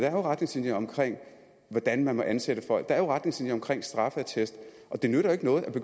er retningslinjer omkring hvordan man må ansætte folk der er jo retningslinjer omkring straffeattest det nytter ikke noget at